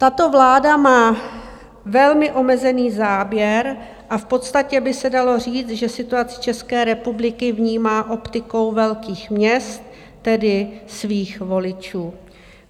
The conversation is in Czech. Tato vláda má velmi omezený záběr a v podstatě by se dalo říct, že situaci České republiky vnímá optikou velkých měst, tedy svých voličů.